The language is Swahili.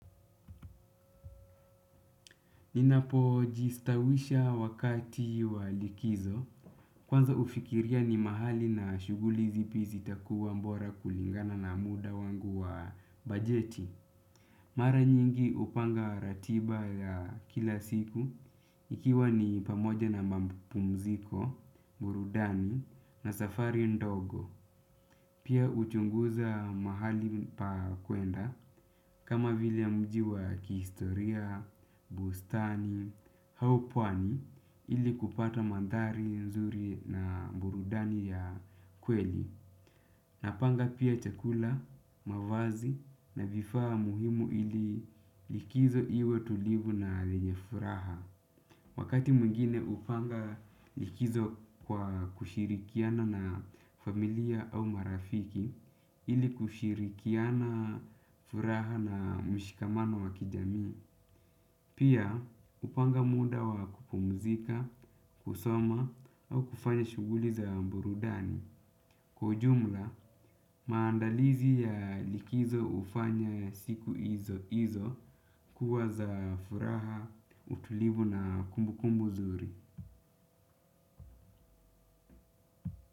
Ninapojistawisha wakati wa likizo kwanza hufikiria ni mahali na shuguli zipi zitakuwa bora kulingana na muda wangu wa bajeti. Mara nyingi hupanga ratiba ya kila siku ikiwa ni pamoja na mapumziko, burudani na safari ndogo. Pia huchunguza mahali pa kuenda kama vile mji wa kihistoria, bustani, au pwani ili kupata mandhari nzuri na burudani ya kweli. Napanga pia chakula, mavazi na vifaa muhimu ili likizo iwe tulivu na yenye furaha. Wakati mwingine hupanga likizo kwa kushirikiana na familia au marafiki ili kushirikiana furaha na mshikamano wa kijamii. Pia hupanga muda wa kupumzika, kusoma au kufanya shuguli za burudani. Kwa ujumla, maandalizi ya likizo hufanya siku hizo kuwa za furaha, utulivu na kumbukumbu nzuri.